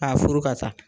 K'a furu ka taa